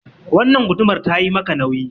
Wannan gudumar ta yi maka nauyi.